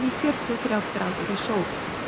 sól